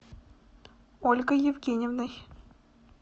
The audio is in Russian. ольгой евгеньевной